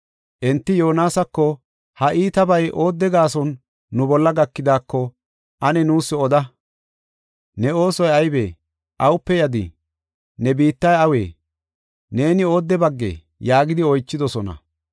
Enti Yoonasako, “Ha iitabay oodde gaason nu bolla gakidaako ane nuus oda. Ne oosoy aybee? Awupe yadii? Ne biittay awee? Neeni oodde baggee?” yaagidi oychidosona.